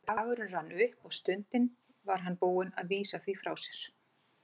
Þegar dagurinn rann upp og stundin var hann búinn að vísa því frá sér.